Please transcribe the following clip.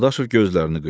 Dadaşov gözlərini qıydı.